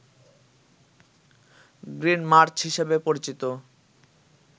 green March হিসাবে পরিচিত